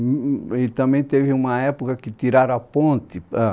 E também teve uma época que tiraram a ponte. ah